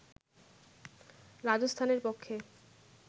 রাজস্থানের পক্ষে